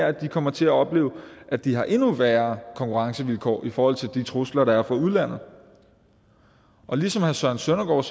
at de kommer til at opleve at de har endnu værre konkurrencevilkår i forhold til de trusler der er fra udlandet ligesom herre søren søndergaard